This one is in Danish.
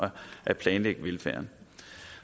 at planlægge velfærden